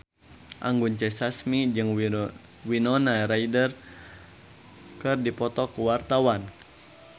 Anggun C. Sasmi jeung Winona Ryder keur dipoto ku wartawan